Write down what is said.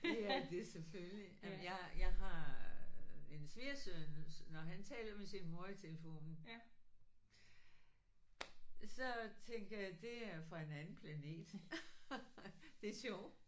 Ja det er det selvfølgelig. Jamen jeg jeg har en svigersøn når han taler med sin mor i telefonen så tænker jeg det er fra en anden planet. Det er sjovt